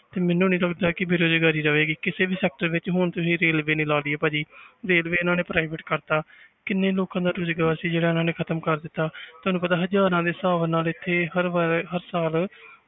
ਤੇ ਮੈਨੂੰ ਨੀ ਲੱਗਦਾ ਵੀ ਬੇਰੁਜ਼ਗਾਰੀ ਰਵੇਗੀ ਕਿਸੇ ਵੀ sector ਵਿੱਚ ਹੁਣ ਤੁਸੀਂ ਰੇਲਵੇ ਦੀ ਲਾ ਲਈਏ ਭਾਜੀ ਰੇਲਵੇ ਇਹਨਾਂ ਨੇ private ਕਰ ਦਿੱਤਾ ਕਿੰਨੇ ਲੋਕਾਂ ਦਾ ਰੁਜ਼ਗਾਰ ਸੀ ਜਿਹੜਾ ਇਹਨਾਂ ਨੇ ਖ਼ਤਮ ਕਰ ਦਿੱਤਾ ਤੁਹਾਨੂੰ ਪਤਾ ਹਜ਼ਾਰਾਂ ਦੇ ਹਿਸਾਬ ਨਾਲ ਇੱਥੇ ਹਰ ਵਾਰ ਹਰ ਸਾਲ